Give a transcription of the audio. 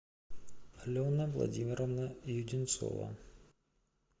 алена владимировна юденцова